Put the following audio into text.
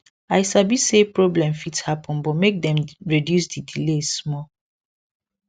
i sabi say problem fit happen but make dem reduce the delay small